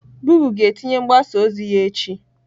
gụgle ga-etinye mgbasa ozi ya echi.